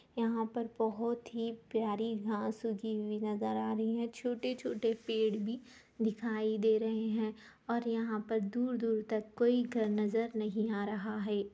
यहां पर बहुत ही प्यारी घास उगी हुई नजर आ रही है छोटे- छोटे पेड़ भी दिखाई दे रहे है और यहां पर दूर-दूर तक कोई घर नजर नहीं आ रहा है।